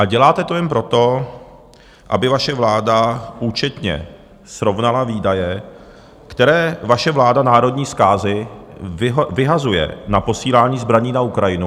A děláte to jen proto, aby vaše vláda účetně srovnala výdaje, které vaše vláda národní zkázy vyhazuje na posílání zbraní na Ukrajinu.